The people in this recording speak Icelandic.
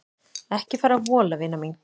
Ekki fara að vola vina mín.